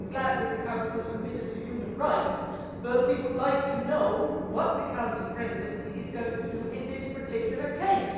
I am glad that the Council is committed to human rights, but we would like to know what the Council presidency is going to do in this particular case.